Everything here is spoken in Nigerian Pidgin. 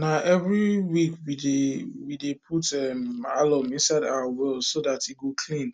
na every week we dey we dey put um alum inside our well so dat e go clean